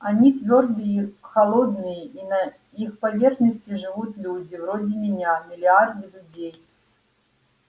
они твёрдые холодные и на их поверхности живут люди вроде меня миллиарды людей